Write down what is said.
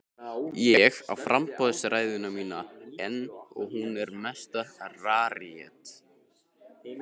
Ég á framboðsræðuna mína enn og hún er mesta rarítet.